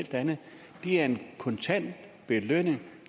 er en kontant belønning